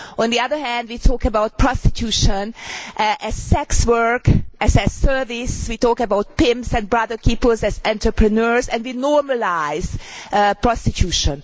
On the other hand, we talk about prostitution as sex work', as a service. We talk about pimps and brothel keepers as entrepreneurs, and we normalise prostitution.